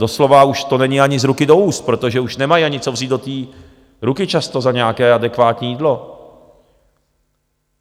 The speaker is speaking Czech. Doslova už to není ani z ruky do úst, protože už nemají ani, co vzít do té ruky často za nějaké adekvátní jídlo.